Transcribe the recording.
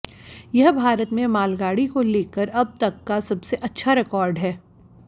यह भारत में मालगाड़ी को लेकर अब तक का सबसे अच्छा रिकॉर्ड है